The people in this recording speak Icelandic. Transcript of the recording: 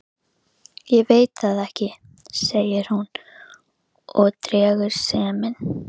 En mun Edda leita eftir utanaðkomandi liðsstyrk í félagsskiptaglugganum?